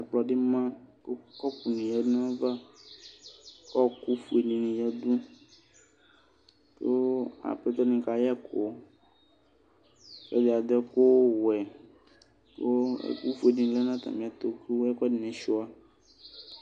ɛkplɔdi ma kʋ kɔpʋni yadʋ nayava kʋ ɔkʋdini yadʋ kʋ apɛtɔ dini kayɛkʋ ɔlʋɛdi adʋɛkʋ wɛ kʋ ɛkʋƒʋedi lɛ nʋ atamiɛtʋ kʋ ɛkʋɛdini sʋa